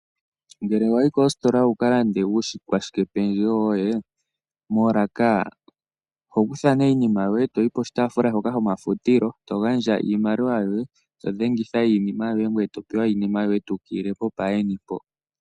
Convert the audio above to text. Ngele wayi kositola wuu kiilandele uukwashike pendjewo woye, moolaka oho kuthamo iinima yoye ngoye toyi koshotaafula shoka shomafutilo to gandja iimaliwa yoye to dhe ngitha iinima yoye ngoye topewa iinima yoye eyi ukililepo paa yeni.